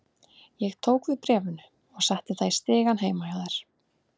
Ég tók við bréfinu og setti það í stigann heima hjá þér.